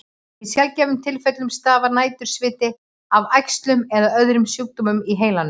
Í sjaldgæfum tilfellum stafar nætursviti af æxlum eða öðrum sjúkdómum í heilanum.